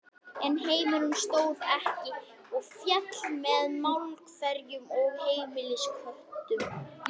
En heimurinn stóð ekki og féll með málverkum og heimilisköttum.